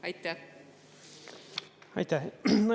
Aitäh!